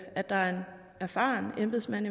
at der er en erfaren embedsmand